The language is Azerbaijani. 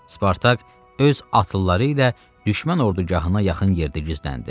Spartak öz atlıları ilə düşmən ordugahına yaxın yerdə gizləndi.